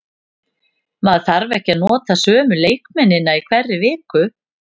Maður þarf ekki að nota sömu leikmennina í hverri viku.